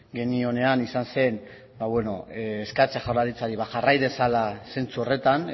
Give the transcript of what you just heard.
genionean izan zen eskatzea jaurlaritzari jarrai dezala zentzu horretan